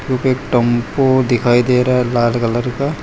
जोकि एक टेंपो दिखाई दे रहा है लाल कलर का --